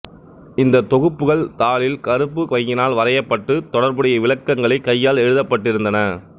இந்தத் தொகுப்புகள் தாளில் கருப்பு மையினால் வரையப்பட்டு தொடர்புடைய விளக்கங்களை கையால் எழுதப் பட்டிருந்தன